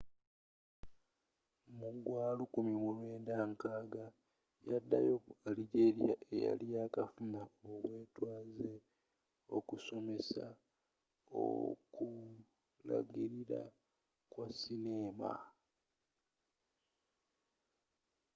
mu gya 1960 yaddayo mu algeria eyali yakafuna obwetwaze okusomesa okulagirira kwa sineema